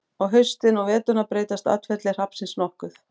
á haustin og veturna breytist atferli hrafnsins nokkuð